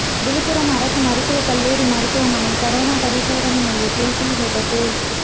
விழுப்புரம் அரசு மருத்துவக் கல்லூரி மருத்துவமனை கரோனா பரிசோதனை மையத்தில் தீ விபத்து